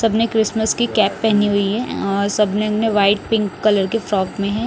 सबने क्रिसमस की कैप पहनी हुई है और सबने में व्हाइट पिंक कलर के फ्रॉक में है।